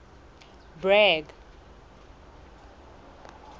bragg